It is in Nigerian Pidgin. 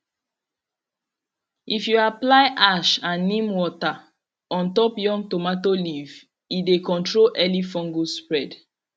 if you apply ash and neem water on top young tomato leaf e dey control early fungus spread